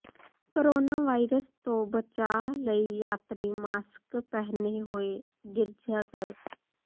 coronavirus ਤੋਂ ਬਚਾਅ ਲਈ ਯਾਤਰੀ ਮਾਸਕ ਪਹਿਨੇ ਹੋਏ ਗਿਰਜਾਘਰ